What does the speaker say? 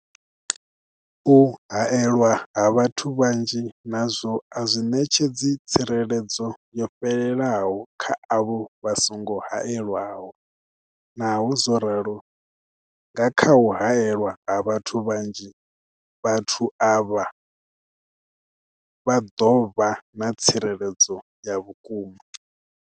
U haelwa ha vhathu vhanzhi nazwo a zwi ṋetshedzi tsireledzo yo fhelelaho kha avho vha songo haelwaho, naho zwo ralo, nga kha u haelwa ha vhathu vhanzhi, vhathu avha vha ḓo vha na tsireledzo ya vhukuma.